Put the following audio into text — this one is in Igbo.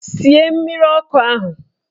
Sie mmiri ọkụ ahụ!